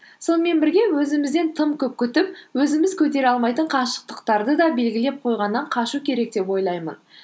сонымен бірге өзімізден тым көп күтіп өзіміз көтере алмайтын қашықтықтарды да белгілеп қойғаннан қашу керек деп ойлаймын